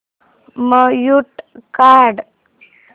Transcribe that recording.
mute काढ